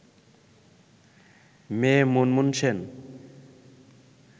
মেয়ে মুনমুন সেন